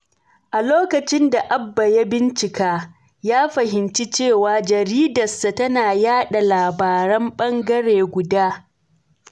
A lokacin da Abba ya bincika, ya fahimci cewa jaridarsa tana yada labaran ɓangare guda.